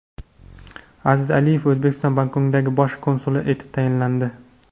Aziz Aliyev O‘zbekistonning Bangkokdagi bosh konsuli etib tayinlandi.